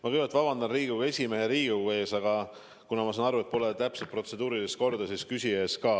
Ma kõigepealt vabandan Riigikogu esimehe ja Riigikogu ees, aga kuna ma saan aru, et pole täpselt protseduurilist korda, siis küsija ees ka.